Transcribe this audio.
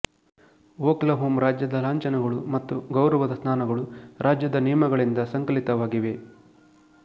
Oklahoma ರಾಜ್ಯದ ಲಾಂಛನಗಳು ಮತ್ತು ಗೌರವದ ಸ್ಧಾನಗಳು ರಾಜ್ಯದ ನಿಯಮಗಳಿಂದ ಸಂಕಲಿತವಾಗಿವೆ